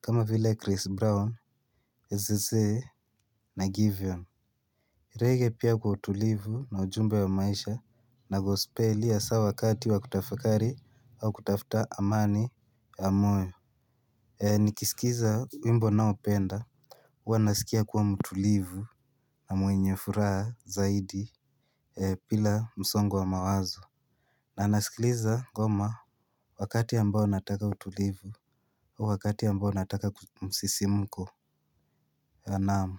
Kama vile Chris Brown, ZZ na Givion Reggae pia kwa utulivu na ujumbe wa maisha. Na gospe liya sawa wakati wa kutafakari au kutafuta amani ya moyo. Nikisikiza wimbo na openda huwa nasikia kuwa mtulivu na mwenye furaha zaidi bila msongo wa mawazo. Na nasikiliza ngoma wakati ya ambao nataka utulivu. Kwa wakati a mbao nataka msisimko ya naamu.